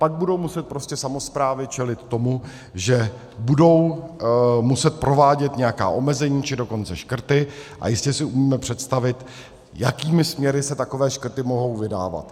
Pak budou muset prostě samosprávy čelit tomu, že budou muset provádět nějaká omezení, či dokonce škrty, a jistě si umíme představit, jakými směry se takové škrty mohou vydávat.